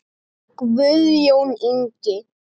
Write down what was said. Guðjón Ingi.